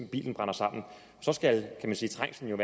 bilen brænder sammen så skal trængslen jo